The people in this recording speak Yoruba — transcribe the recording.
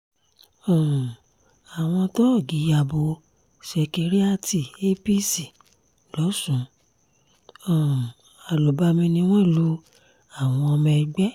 um àwọn tóògì ya bo ṣekérìàti apc lọ́sun um àlùbami ni wọ́n lu àwọn ọmọ ẹgbẹ́